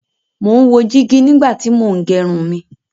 Mo ń wo jígí nígbà tí mo ń gẹrun mí